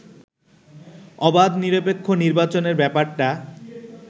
অবাধ নিরপেক্ষ নির্বাচনের ব্যাপারটা